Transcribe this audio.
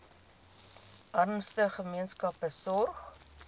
armste gemeenskappe sorg